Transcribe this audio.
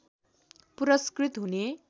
पुरस्कृत हुने